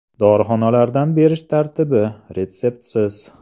Dorixonalardan berish tartibi – retseptsiz.